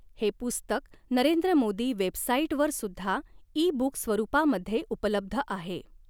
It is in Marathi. हे पुस्तक नरेंद्र मोदी वेबसाईट वरसुद्धा ई बूक स्वरूपामध्ये उपलब्ध आहे.